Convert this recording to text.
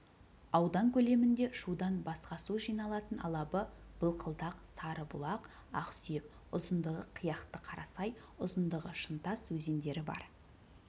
аудан көлемінде шудан басқасу жиналатын алабы былқылдақ сарыбұлақ ақсүйек ұзындығы қияқты қарасай ұзындығы шынтас өзендері бар